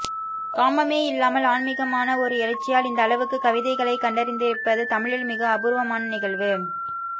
காமமே இல்லாமல் ஆன்மிகமான ஒரு எழுச்சியால் இந்த அளவுக்கு கவிதைகளை கண்டடைந்திருப்பது தமிழில் மிக அபூர்வமான நிகழ்வு